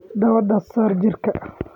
Dawada saar jiirka.